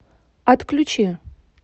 отключи